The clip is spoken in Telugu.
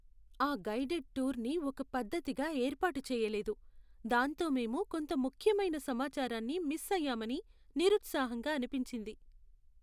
ఆ గైడెడ్ టూర్ని ఒక పద్ధతిగా ఏర్పాటు చెయ్యలేదు, దాంతో మేము కొంత ముఖ్యమైన సమాచారాన్ని మిస్ అయ్యామని నిరుత్సాహంగా అనిపించింది.